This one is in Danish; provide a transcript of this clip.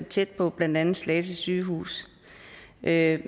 tæt på blandt andet slagelse sygehus med